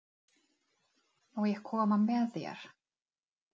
Má ég koma með þér?